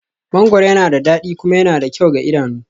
Mangoro yana da dadi kuma yana da kyau ga idanunmu